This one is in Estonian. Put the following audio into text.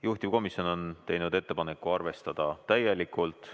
Juhtivkomisjon on teinud ettepaneku arvestada seda täielikult.